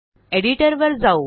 एडिटरवर जाऊ